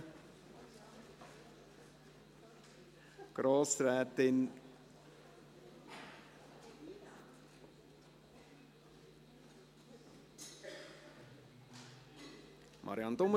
Im Rahmen der Projektierung müssen erzielbare Einsparmöglichkeiten bzw. die erzielten Einsparungen detailliert ausgewiesen und begründet werden.